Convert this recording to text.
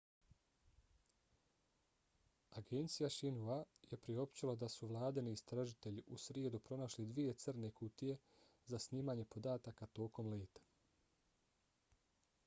agencija xinhua je priopćila da su vladini istražitelji u srijedu pronašli dvije crne kutije za snimanje podataka tokom leta